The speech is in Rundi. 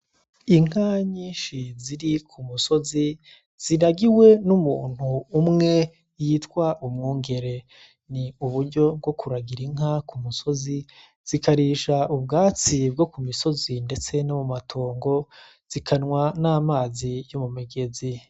Inka nyinshi ziri ku musozi ziragiwe n'umuntu umwe yitwa umwungere ni uburyo bwo kuragira inka ku musozi zikarisha ubwatsi bwo ku misozi, ndetse no mu matongo zikanwa n'amazi yo mu migezi.